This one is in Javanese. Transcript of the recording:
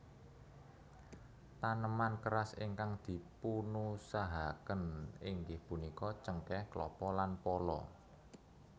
Taneman keras ingkang dipunusahakaken inggih punika cengkeh klapa lan pala